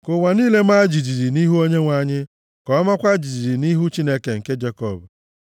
Ka ụwa niile maa jijiji nʼihu Onyenwe anyị, ka ọ maakwa jijiji nʼihu Chineke nke Jekọb,